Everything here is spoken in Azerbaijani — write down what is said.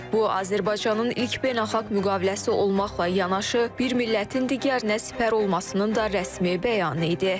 Bu Azərbaycanın ilk beynəlxalq müqaviləsi olmaqla yanaşı, bir millətin digərinə sipər olmasının da rəsmi bəyanı idi.